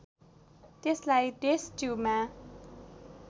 त्यसलाई टेष्ट ट्युबमा